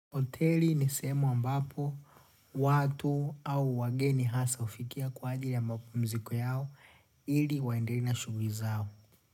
Hoteli ni sehemu ambapo watu au wageni hasa hufikia kwa ajili ya mapumziko yao ili waendelee na shughuli zao.